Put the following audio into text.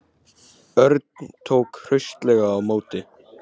Örn tók hraustlega á móti.